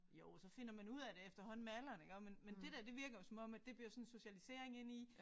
Jo så finder man ud af det efterhånden med alderen iggå men men det der det virker jo som om at det bliver sådan en socialisering ind i